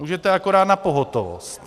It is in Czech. Můžete akorát na pohotovost.